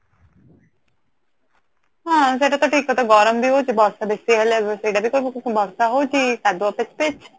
ହଁ ସେଇଟା ତ ଠିକ କଥା ଗରମ ବି ହଉଚି ବର୍ଷା ବେଶି ହେଲେ ବର୍ଷା ହଉଚି କାଦୁଅ ପିଚ ପିଚ